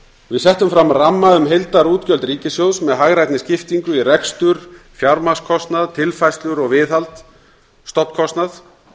við settum fram ramma um heildarútgjöld ríkissjóðs með hagrænni skiptingu í rekstur fjármagnskostnað tilfærslur og viðhald og stofnkostnað